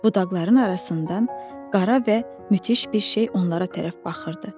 Budaqların arasından qara və müthiş bir şey onlara tərəf baxırdı.